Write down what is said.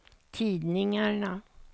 tidningarna